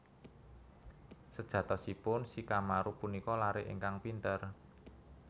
Sejatosipun Shikamaru punika laré ingkang pinter